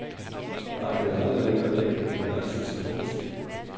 Markedet er aldrig længere væk end det nærmeste telefonstik.